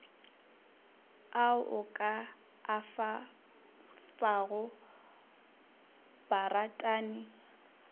ao o ka afago baratani